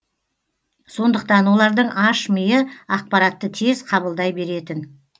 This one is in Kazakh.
сондықтан олардың аш миы ақпаратты тез қабылдай беретін